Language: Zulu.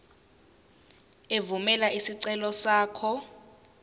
evumela isicelo sakho